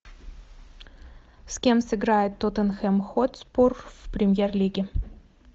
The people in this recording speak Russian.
с кем сыграет тоттенхэм хотспур в премьер лиге